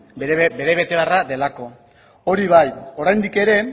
bere betebeharra delako hori bai oraindik ere